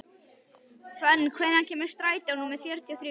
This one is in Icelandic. Fönn, hvenær kemur strætó númer fjörutíu og þrjú?